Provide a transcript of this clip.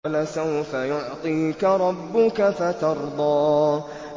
وَلَسَوْفَ يُعْطِيكَ رَبُّكَ فَتَرْضَىٰ